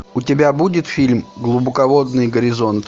у тебя будет фильм глубоководный горизонт